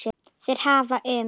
Þeir hafa um